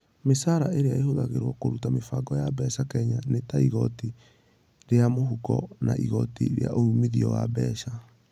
Mĩcaara ĩrĩa ĩhũthagĩrũo kũruta mĩbango ya mbeca Kenya nĩ ta igooti rĩa mũhuko na igooti rĩa uumithio wa mbeca.